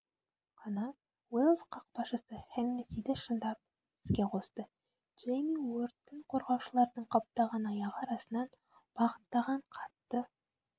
қана уэльс қақпашысы хеннессиді шындап іске қосты джейми уордтың қорғаушылардың қаптаған аяғы арасынан бағыттаған қатты